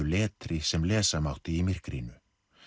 letri sem lesa mátti í myrkrinu